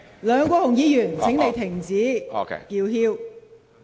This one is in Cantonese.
梁議員，請你停止叫囂。